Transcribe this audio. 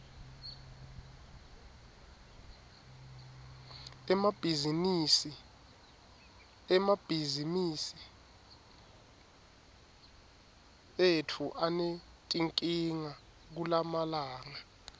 emabhizimisi etfu anetinkinga kulamalanga